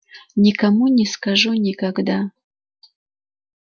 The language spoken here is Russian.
никому не скажу никогда